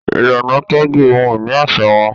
Ìlànà tọju ohun-ìní aṣa wà.